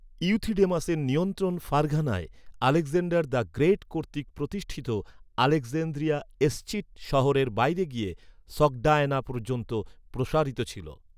ইউথিডেমাসের নিয়ন্ত্রণ ফারঘানায় Alexander the Great কর্তৃক প্রতিষ্ঠিত আলেকজান্দ্রিয়া এসচিট শহরের বাইরে গিয়ে সগডায়ানা পর্যন্ত প্রসারিত ছিল।